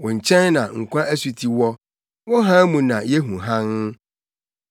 Wo nkyɛn na nkwa asuti wɔ; wo hann mu na yehu hann.